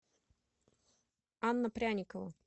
анна пряникова